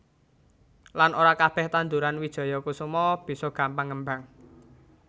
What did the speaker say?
Lan ora kabeh tandhuran wijaya kusuma bisa gampang ngembang